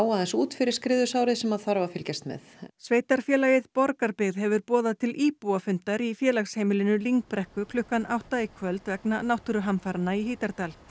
aðeins út fyrir skriðusárið sem að þarf að fylgjast með sveitarfélagið Borgarbyggð hefur boðað til íbúafundar í félagsheimilinu lyngbrekku klukkan átta í kvöld vegna náttúruhamfaranna í Hítardal